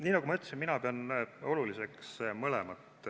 Nii nagu ma ütlesin, mina pean oluliseks mõlemat.